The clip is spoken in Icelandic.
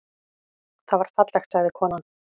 Það var fallegt, sagði konan.